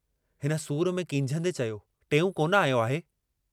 हिन सूर में कींझंदे चयो, टेऊं कोन आयो आहे।